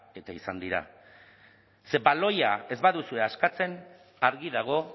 eta izan dira ze baloia ez baduzue askatzen argi dago